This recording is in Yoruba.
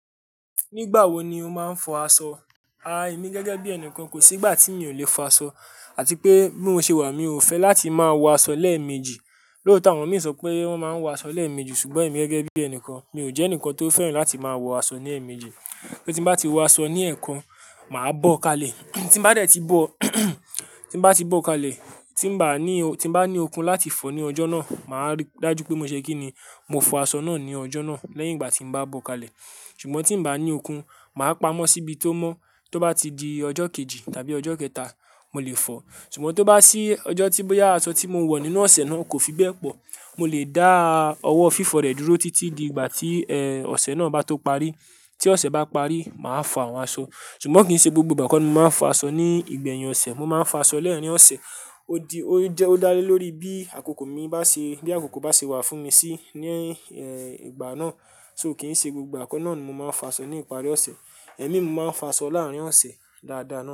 Nígbà wo ni o máa ń fọ aṣọ? Èmi gẹ́gẹ́ bí ẹnìkan kò sí ìgbà tí mi ò le fọ aṣọ àti pé bí mo ṣe wà, mi ò fẹ́ láti máa wọ aṣọ lẹ́ẹ̀mejì. Lóòótọ́ àwọn mi ń sọ pé wón máa ń wọ aṣọ lẹ́ẹ̀mejì ṣùgbọ́n èmi gẹ́gẹ́ bí ẹnìkan, mi ò jẹ́ ẹnìkan tó fẹ́ràn láti máa wọ aṣọ ní ẹ̀ẹ̀mejì. Pé tí bá ti wọ aṣọ ní ẹ̀ẹ̀kan, màá bọ́ kalẹ̀. Tí n bá dẹ̀ ti bọ́, tí n bá ti bọ́ kalẹ̀, tí bá ní o-- tí bá ní okun láti fọ ní ọjọ́ náà, màá rí dájú pé mo ṣe kíni, mo fọ aṣọ náà ní ọjọ́ náà lẹ́yìn ìgbà tí mo bá bọ́ kalẹ̀. Ṣùgbọ́n tí n bá ní okun, màá pamọ́ síbi tó mọ́, tó bá ti di ọjọ́ kejì tàbí ọjọ́ kẹta, mo lè fọ. Ṣùgbọ́n tó bá sí ọjọ́ tí boya aṣọ tí mo wọ nínú ọ̀sẹ̀ náà kò fi bẹ́ẹ̀ pọ̀, mo lè dá ọwọ́ fífọ rẹ̀ dúró títí di ìgbà tí, ọ̀sẹ̀ náà bá tó parí. Tí ọ̀sẹ̀ bá parí, màá fọ àwọn aṣọ. Ṣùgbọ́n kì í ṣe gbogbo ìgbà kọ́ ni mo máa ń fọ aṣọ ní ìgbẹ̀yìn ọ̀sẹ̀. Mo máa ń fọ aṣọ lẹ́ẹ̀rin ọ̀sẹ̀. Ó di, ó jẹ́, ó dá lé lórí bí àkókò mi bá ṣe, bí àkókò bá ṣe wà fún mi sí ní, ìgbà náà. So kì í ṣe gbogbo ìgbà kọ́ náà ni mo máa ń fọ aṣọ ní ìparí ọ̀sẹ̀. Ẹ̀mí mo máa ń fọ aṣọ láàárín ọ̀sẹ̀ dáadáa náà.